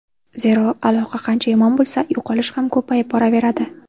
Zero, aloqa qancha yomon bo‘lsa, yo‘qolish ham ko‘payib boraveradi.